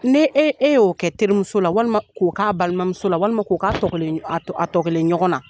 Ne e e y'o kɛ terimuso la, walima k'o k'a balimamuso la, walima k'o k'a tɔ kelen a tɔ kelen ɲɔgɔn na.